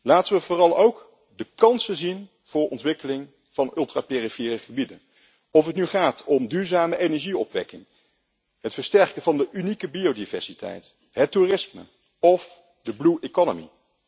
Laten we vooral ook de kansen zien voor ontwikkeling van de ultra perifere gebieden, of het nu gaat om duurzame energieopwekking, het versterken van de unieke biodiversiteit, het toerisme of the blue economy